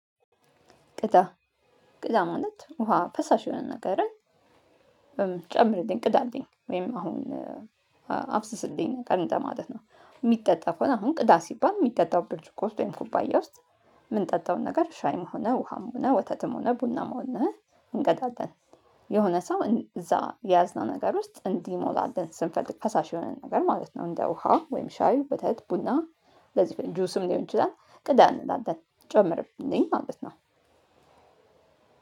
ቅዳ ቅዳ ማለት ውሃ ፈሳሽ የሆነ ነገርን በምን ጨምርልኝ ቅዳልኝ ወይም አሁን ውሃ አፍስስልኝ እንደማለት ነው የሚጠጣ ከሆነ ቅዳ ሲባል የሚጠጣው ብርጭቆ ውስጥ ወይም ኩባያ ውስጥ የምንጠጣውን ነገር ሻይም ሆነ ውሃም ሆነ ወተትም ሆነ ቡናም ሆነ እንቀዳለን የሆነ ሰው እዛ የያዝነው ነገር ውስጥ እንዲሞላለን ስንፈልግ ፈሳሽ የሆነ ነገር ማለት ነው። እንደ ውሃ ወይም ሻይ ወተት ቡና ለዚህ ጁስም ሊሆን ይችላል። ቅዳ እንላለን ጨምርልኝ ማለት ነው።